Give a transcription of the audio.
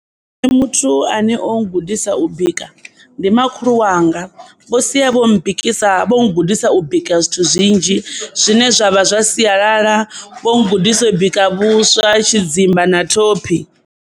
Ndi vhona muthu ane o gudisa u bika ndi makhulu wanga vho sia vho bikisa, vho gudisa u bika zwithu zwinzhi zwine zwa vha zwa sialala vho gudisa u bika vhuswa, tshidzimba na thophi.